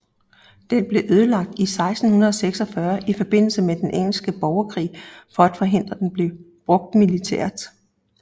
Den blev ødelagt i 1646 i forbindelse med den engelske borgerkrig for at forhindre den blev brugt militært